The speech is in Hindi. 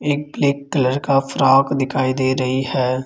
एक ब्लैक कलर का फ्रॉक दिखाई दे रही है।